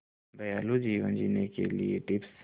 दयालु जीवन जीने के लिए टिप्स